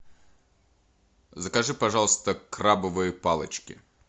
закажи пожалуйста крабовые палочки